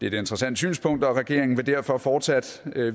et interessant synspunkt og regeringen vil derfor fortsat